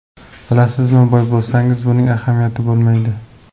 Bilasizmi, boy bo‘lsangiz buning ahamiyati bo‘lmaydi.